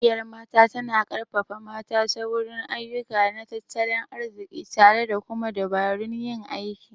Ƙungiyar Mata tana ƙarfafa mata ta wurin ayyuka na tattalin arziki tare da kuma dabarun yin aiki..